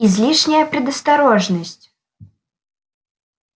излишняя предосторожность